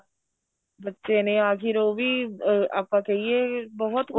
ਬੱਚੇ ਨੇ ਆਖੀਰ ਉਹ ਵੀ ਅਹ ਆਪਾਂ ਕਹਿਏ ਬਹੁਤ